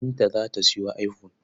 Binta za ta sayo iphone.